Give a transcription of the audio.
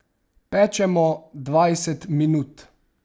Pečemo dvajset minut.